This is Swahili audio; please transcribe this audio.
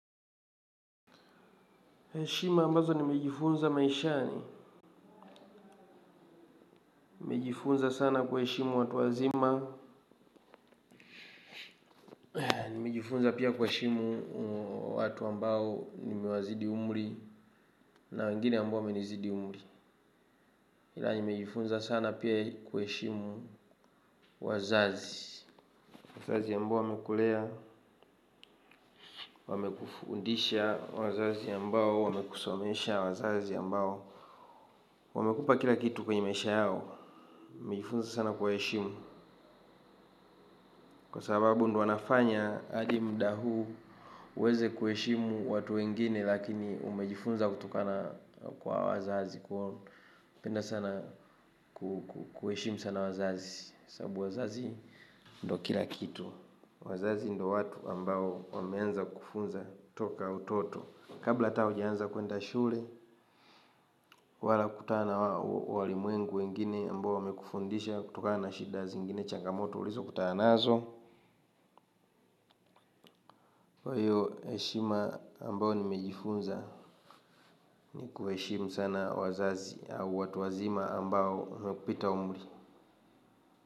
Shima ambazo nimejifunza maishani, nimejifunza sana kuheshimu watu wazima, nimejifunza pia kuheshimu watu ambao nimewazidi umri na wengine ambao wamenizidi umri. Ila nimejifunza sana pia kuheshimu wazazi, wazazi ambao wamekulea, wamekufundisha wazazi ambao wamekusomesha wazazi ambao. Wamekupa kila kitu kwenye maisha yao, nimejifunza sana kuwaheshimu, kwa sababu ndio wanafanya hadi muda huu uweze kuheshimu watu wengine lakini umejifunza kutokana kwa wazazi kwa penda sana kuheshimu sana wazazi sababu wazazi ndio kila kitu wazazi ndio watu ambao wameanza kufunza kutoka utoto kabla hata ukaanza kuenda shule. Wala kutana wali mwengu wengine ambao wamekufundisha. Kutoka na shidazi ingine changamoto ulizo kutanaazo kwa hiyo heshima ambayo nimejifunza. Ni kuheshimu sana wazazi au watu wazima ambao wamekupita umuri.